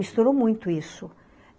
Misturou muito isso.